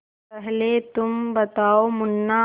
पहले तुम बताओ मुन्ना